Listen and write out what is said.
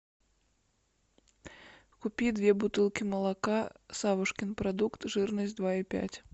купи две бутылки молока савушкин продукт жирность два и пять